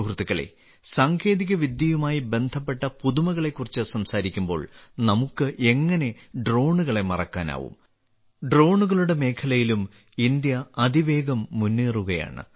സുഹൃത്തുക്കളേ സാങ്കേതികവിദ്യയുമായി ബന്ധപ്പെട്ട പുതുമകളെക്കുറിച്ച് സംസാരിക്കുമ്പോൾ നമുക്ക് എങ്ങനെ ഡ്രോണുകളെ മറക്കാനാകും ഡ്രോണുകളുടെ മേഖലയിലും ഇന്ത്യ അതിവേഗം മുന്നേറുകയാണ്